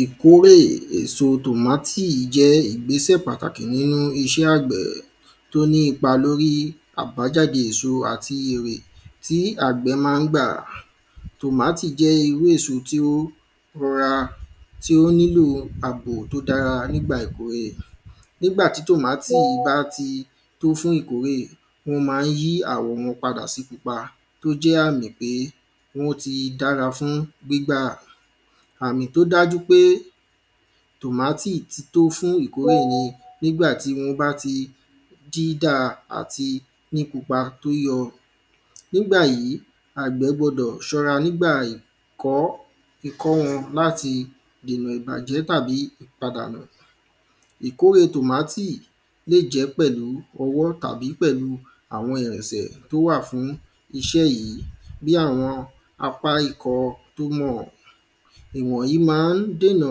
ìkórè èso tòmátì jẹ́ ìgbésẹ̀ pàtàkì nínú iṣẹ́ àgbẹ̀ tó ní ipa lórí àbájáde èso àti èrè tí àgbẹ̀ máa ń gbà tòmátì jẹ́ irú èso tó ra tí ó nílò àbò tó dára nígbà ìkórè nígbà tí tòmátì bá ti tó fún ìkórè wọ́n máa ń jí àwọ̀ wọn padà sí pupa tí ó jẹ́ àmì pé wọ́n ti dára fún gbígbà àmì tó dájú pé tòmátì ti tó fún ìkórè ní nígbà tí wọ́n bá ti dídáa àti ní pupa tó yọ nígbà yí àgbẹ̀ gbọdọ̀ ṣọ́ra nígbà kó wọn láti dènà ìbàjẹ́ tàbí ìpadànù ìkóɹè tòmátì lè jẹ́ pẹ̀lú ọwọ́ tàbí pẹ̀lú àwọn ìrìnṣẹ̀ tó wà fún iṣẹ́ yìí bí àwọn apá ikọ̀ tómọ̀ ìwọ̀nyí máa dènà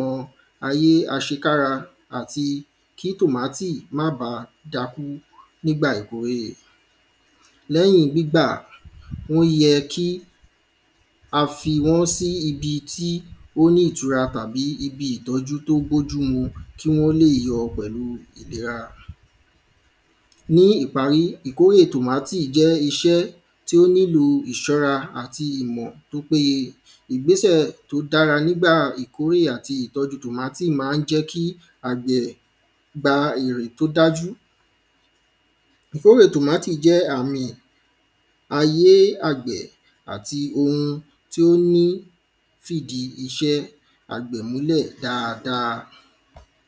ayé àṣekára àti kí tòmátì máà bá dákú nígbà ìkórè lẹ́yìn gbígbà ó yẹ ka fi wọ́n sí ibi tí ó ní ìtura àbí ibi ìtọ́jú tó bójú mu kí wọ́n lè yọ pẹ̀lú ìlera ní ìparí ìkórè tòmátì jẹ́ iṣẹ́ tó nílò ìṣọ́ra àti ìmọ̀ tó péye ìgbésẹ̀ tó dára nígbà ìkórè àti ìtọ́jú tòmátì máa ń jẹ́ kí àgbẹ̀ gba erè tó dájú ìkórè tòmátì jẹ́ àmì ayé àgbẹ̀ àti ohun tí ó ní fìdí iṣẹ́ àgbẹ̀ múlẹ̀ dáadáa